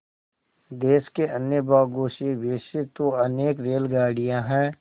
देश के अन्य भागों से वैसे तो अनेक रेलगाड़ियाँ हैं